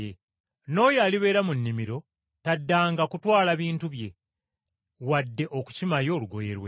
N’oyo alibeera mu nnimiro, taddanga kutwala bintu bye, wadde okukima yo olugoye lwe.